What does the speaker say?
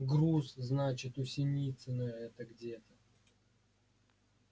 груз значит у синицына это где-то